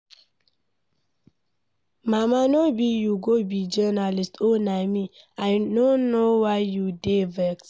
Mama no be you go be journalist oo na me, I no know why you dey vex.